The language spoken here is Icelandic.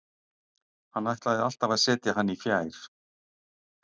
Hann ætlaði alltaf að setja hann í fjær.